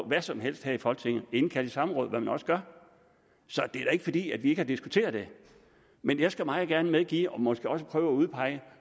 hvad som helst her i folketinget indkalde i samråd hvad man også gør så det er ikke fordi vi ikke har diskuteret det men jeg skal meget gerne medgive og måske også prøve at udpege